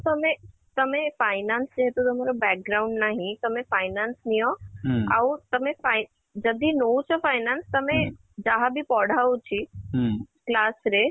ତମେ ତମେ finance ଯେହେତୁ ତମର ନାହିଁ ତମେ finance ନିଅ ଆଉ ତମେ ଯଦି ନଉଛ finance ତମେ ଯାହା ବି ପଢା ହଉଚି class ରେ